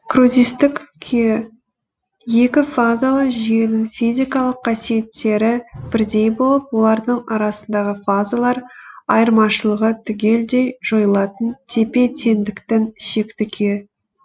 кризистік күйі екі фазалы жүйенің физикалық қасиеттері бірдей болып олардың арасындағы фазалар айырмашылығы түгелдей жойылатын тепе теңдіктің шекті күйі